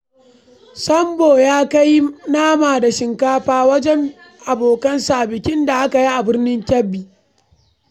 Sambo ya kai nama da shinkafa wajen abokansa a bikin da aka yi a Birnin Kebbi.